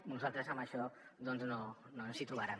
a nosaltres en això doncs no ens hi trobaran